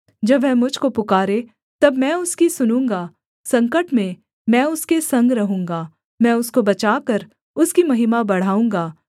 जब वह मुझ को पुकारे तब मैं उसकी सुनूँगा संकट में मैं उसके संग रहूँगा मैं उसको बचाकर उसकी महिमा बढ़ाऊँगा